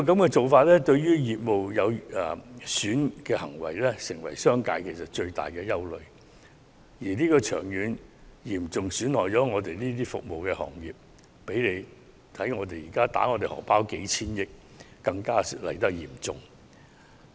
這種對業務有損的行為將成為商界的最大憂慮，長遠而言嚴重損害服務行業，比起現在迫我們掏出數千億元，傷害更為嚴重。